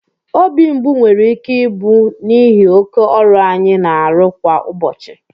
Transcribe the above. obi mgbu nwere ike ịbụ n'ihi oke ọrụ anyị na-arụ kwa ụbọchị